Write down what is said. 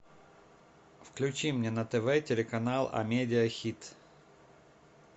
включи мне на тв телеканал амедиа хит